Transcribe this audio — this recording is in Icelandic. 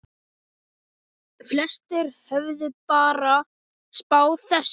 Flestir höfðu bara spáð þessu.